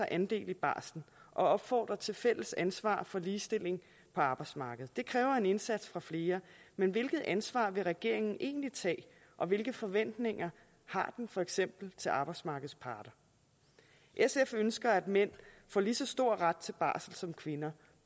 andel i barslen og opfordrer til fælles ansvar for ligestilling på arbejdsmarkedet det kræver en indsats fra flere men hvilket ansvar vil regeringen egentlig tage og hvilke forventninger har den for eksempel til arbejdsmarkedets parter sf ønsker at mænd får lige så stor ret til barsel som kvinder